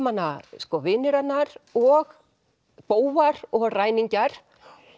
hana vinir hennar og bófar og ræningjar